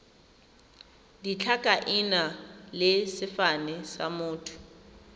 ditlhakaina le sefane sa motho